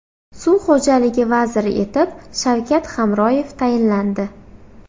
Suv xo‘jaligi vaziri etib Shavkat Hamroyev tayinlandi.